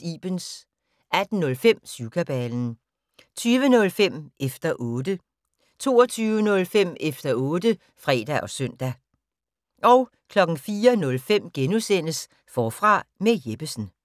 Ibens * 18:05: Syvkabalen 20:05: Efter 0tte 22:05: Efter otte (fre og søn) 04:05: Forfra med Jeppesen *